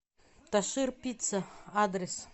ташир пицца адрес